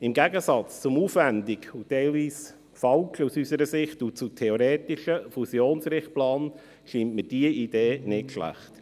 Im Gegensatz zum aufwendigen, aus unserer Sicht teilweise falschen und zu theoretischen Fusionsrichtplan, scheint mir diese Idee nicht schlecht.